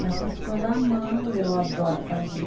Mas essas coisas à mão eu adoro fazer.